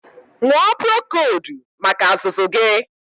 Ñụọ purokoldu maka azụzụ gị